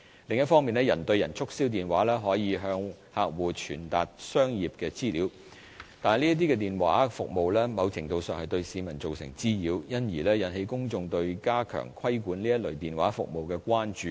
另一方面，人對人促銷電話可以向客戶傳達商業資訊，但這類電話服務某程度上對市民造成滋擾，因而引起公眾對加強規管這類電話服務的關注。